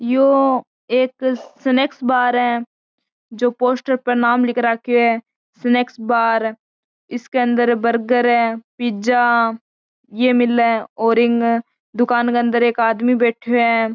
ये एक snack bar है जो पोस्टर पर नाम लिख रखो है स्नैक बार इसके अंदर बर्गर पिज़्ज़ा ये मिले और दुकान के अंदर एक आदमी बैठो है।